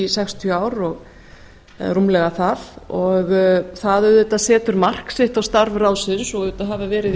sextíu ár eða rúmlega það og það auðvitað setur mark sitt á starf ráðsins og auðvitað hafa verið í